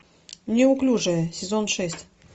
неуклюжие сезон шесть